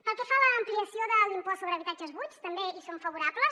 pel que fa a l’ampliació de l’impost sobre habitatges buits també hi som favorables